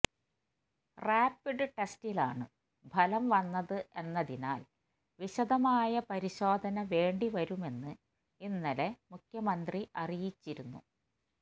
rapid ടെസ്റ്റിലാണ് ഫലം വന്നത് എന്നതിനാല് വിശദമായ പരിശോധന വേണ്ടി വരുമെന്ന് ഇന്നലെ മുഖ്യമന്ത്രി അറിയിച്ചിരുന്നു